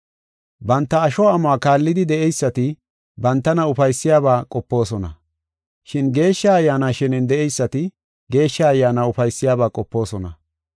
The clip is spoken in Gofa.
Banta asho amuwa kaallidi de7eysati bantana ufaysiyabaa qopoosona. Shin Geeshsha Ayyaana shenen de7eysati Geeshsha Ayyaana ufaysiyabaa qopoosona.